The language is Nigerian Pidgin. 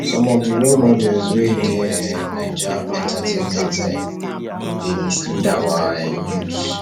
some of di role models wey dey um naija entertainment um dey mislead our um youths